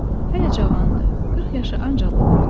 Hələ cavandı, 40 yaşı ancaq olardı.